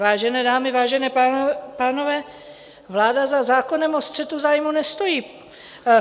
Vážené dámy, vážení pánové, vláda za zákonem o střetu zájmů nestojí.